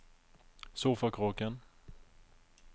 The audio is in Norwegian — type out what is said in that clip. sofakroken